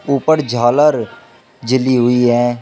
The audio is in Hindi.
ऊपर झालर जली हुई है।